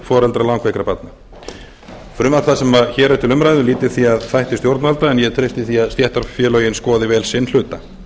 foreldra langveikra barna frumvarp það sem hér er til umræðu lýtur því að þætti stjórnvalda en ég treysti því að stéttarfélögin skoði vel sinn hluta